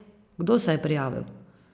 Kdo se je prijavil?